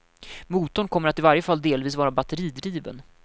Motorn kommer att i varje fall delvis vara batteridriven.